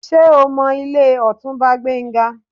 Ṣé o mọ ilé Ọ̀túnba Gbénga?